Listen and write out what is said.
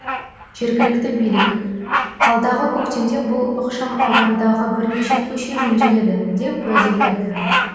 жергілікті билік алдағы көктемде бұл ықшамаудандағы бірнеше көше жөнделеді деп уәде берді